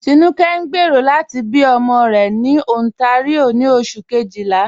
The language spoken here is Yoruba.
Tinúkẹ̀ ǹ gbéero lati bí ọmọ rẹ̀ ni Ontario ni Oṣù̀ kejìlá.